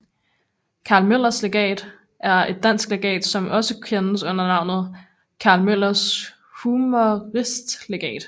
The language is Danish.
Carl Møllers Legat er et dansk legat som også kendes under navnet Carl Møllers Humoristlegat